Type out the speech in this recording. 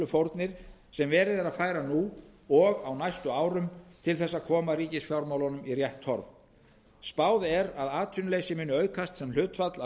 fórnir sem verið er að færa nú og á næstu árum til þess að koma ríkisfjármál um í rétt horf spáð er að atvinnuleysi muni aukast sem hlutfall af